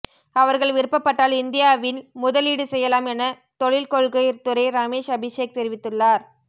அவர்கள் விருப்பப்பட்டால் இந்தியாவில் முதலீடு செய்யலாம் என தொழில் கொள்கை துறை ரமேஷ் அபிஷேக் தெரிவித்துள்ளார்